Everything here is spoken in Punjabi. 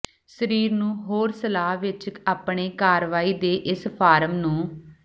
ਸਰੀਰ ਨੂੰ ਹੋਰ ਸਲਾਹ ਵਿੱਚ ਆਪਣੇ ਕਾਰਵਾਈ ਦੇ ਇਸ ਫਾਰਮ ਨੂੰ